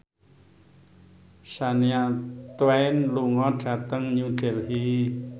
Shania Twain lunga dhateng New Delhi